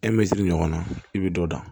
ɲɔgɔnna i bɛ dɔ da